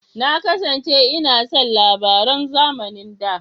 Na kasance ina son labaran a zamanin da.